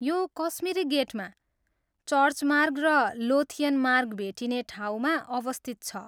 यो कश्मिरी गेटमा, चर्च मार्ग र लोथियन मार्ग भेटिने ठाउँमा अवस्थित छ।